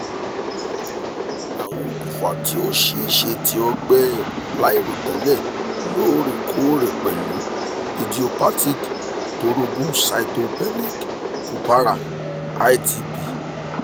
awọn okunfa ti o ṣee ṣe ti ọgbẹ lairotẹlẹ loorekoore pẹlu idiopathic thrombocytopenic purpura itp